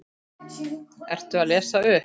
Ertu að lesa upp?